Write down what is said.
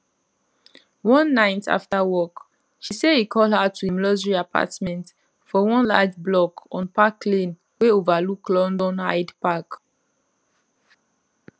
one night after work she say e call her to im luxury apartment for one large block on park lane wey overlook london hyde park